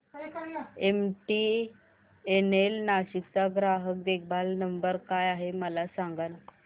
MTNL Nashik चा ग्राहक देखभाल नंबर काय आहे मला सांगाना